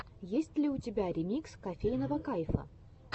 есть ли у тебя ремикс кофейного кайфа